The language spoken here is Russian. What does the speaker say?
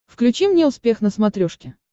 включи мне успех на смотрешке